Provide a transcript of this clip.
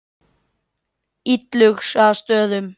Illugastöðum